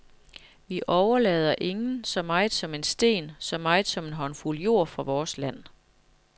Vi overlader ingen så meget som en sten, så meget som en håndfuld jord fra vores land.